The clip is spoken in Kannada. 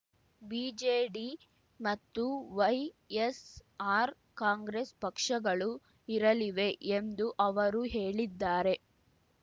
ಬಿಜೆಡಿ ಮತ್ತು ವೈಎಸ್‌ಆರ್ ಕಾಂಗ್ರೆಸ್ ಪಕ್ಷಗಳು ಇರಲಿವೆ ಎಂದು ಅವರು ಹೇಳಿದ್ದಾರೆ